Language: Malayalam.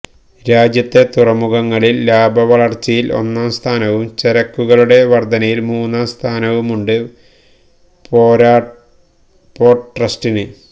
രാജ്യത്തെ തുറമുഖങ്ങളില് ലാഭവളര്ച്ചയില് ഒന്നാം സ്ഥാനവും ചരക്കുകളുടെ വര്ദ്ധനയില് മൂന്നാം സ്ഥാനവുമുണ്ട് പോര്ട്ട് ട്രസ്റ്റിന്